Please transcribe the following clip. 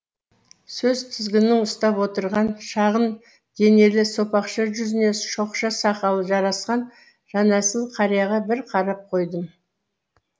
сөз тізгінін ұстап отырған шағын денелі сопақша жүзіне шоқша сақалы жарасқан жанәсіл қарияға бір қарап қойдым